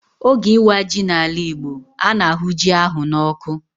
Oge ịwa ji n'ala Igbo, a na-ahụ ji ahụ n'ọkụ.